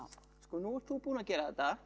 nú ert þú búinn að gera þetta